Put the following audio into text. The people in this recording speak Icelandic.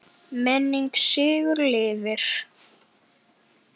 Minning Siggu lifir.